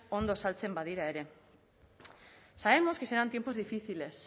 ondo saltzen badira ere sabemos que serán tiempos difíciles